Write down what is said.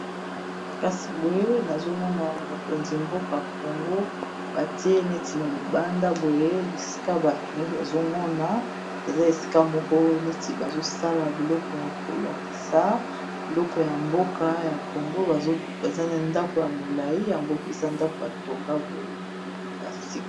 Kasi boye nazo mona mokonzi mboka congo batie neti na libanda boye esika bato nyonso bazo mona eza esika moko neti bazo sala biloko kolakisa biloko ya mboka ya congo baza nandako ya molai yango eza ndako batonga boye ya sika.